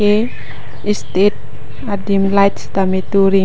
ke state adim light sitame tur ring.